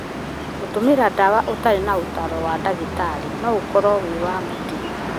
Gũtũmĩra ndawa ũtarĩ na ũtaaro wa ndagĩtarĩ no ũkorwo wĩ wa mũtino.